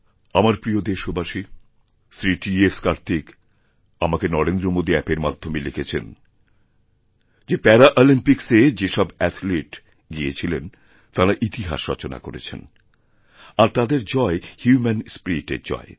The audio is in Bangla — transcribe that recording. আমার প্রিয় দেশবাসীশ্রী টি এস কার্তিক আমাকে নরেন্দ্রমাদী অ্যাপের মাধ্যমে লিখেছেন যে প্যারাঅলিম্পিক্সেযে সব অ্যাথলিট গিয়েছিলেন তাঁরা ইতিহাস রচনা করেছেন আর তাঁদের জয় হিউম্যানস্পিরিটের জয়